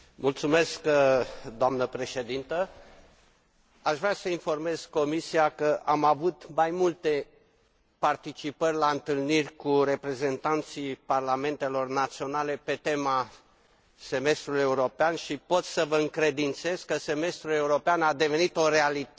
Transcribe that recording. Aș vrea să informez Comisia că am avut mai multe participări la întâlniri cu reprezentanții parlamentelor naționale pe tema semestrului european și pot să vă încredințez că semestrul european a devenit o realitate percepută de către parlamentele naționale,